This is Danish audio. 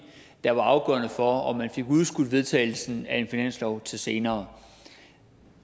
der var afgørende for om man fik udskudt vedtagelsen af en finanslov til senere